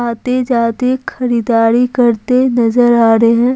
आते जाते खरीदारी करते नजर आ रहे हैं।